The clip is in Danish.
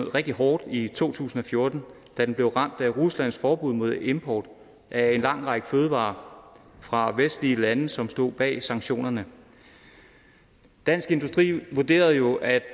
rigtig hårdt i to tusind og fjorten da den blev ramt af ruslands forbud mod import af en lang række fødevarer fra vestlige lande som stod bag sanktionerne dansk industri vurderer jo at